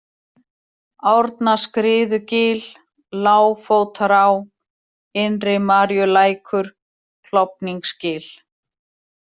Árnaskriðugil, Lágfótará, Innri-Maríulækur, Klofningsgil